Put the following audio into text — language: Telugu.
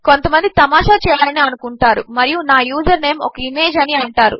కొంతమందితమాషాచేయాలనిఅనుకుంటారుమరియునా యూజర్నేమ్ ఒక ఇమేజ్ అనిఅంటారు